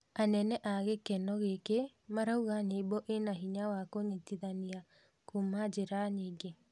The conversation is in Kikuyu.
Anene a gĩkeno gĩkĩ maraũga nyĩmbo ĩna hinya wa kũnyitanithia kuuma njĩra nyingĩ